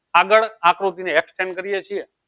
આગળ આકૃતિને extent કરીએ છીએ.